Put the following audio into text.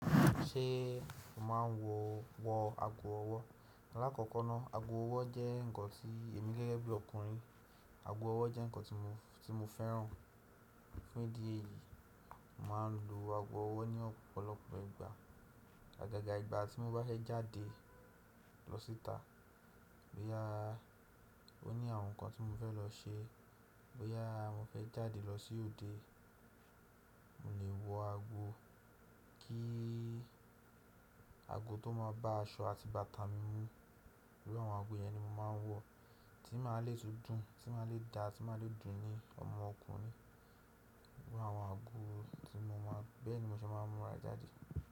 Ṣé o máa wo wọ ago ọwọ́? Láàkọ́kọ́ ná, ago ọwọ́ jẹ́ nǹkan tí èmi gẹ́gẹ́ bí ọkùnrin, ago ọwọ́ jẹ́ nǹkan tí mo fẹ́ràn. Fun idi èyí? Mo máa ń lo ago ọwọ́ ní ọ̀pọ̀lọpọ̀ ìgbà. Agagà ìgbà tí mo bá fẹ́ jáde lọ síta, bóyá ó ní àwọn nǹkan tí mo fẹ́ lọ ṣe, bóyá mo fẹ́ jáde lọ sí òde, mo lè wọ ago kí ago tó máa bá aṣọ àti bàtà mi mu. Iru àwọn ago yẹn ni mo máa ń wọ, tí máa le tún dùn, tí máa le da, tí máa le dùn ni ọmọ ọkùnrin. Iru àwọn ago tí mo mọ̀, bẹ́ẹ̀ ni mo ṣe máa ń múra jáde.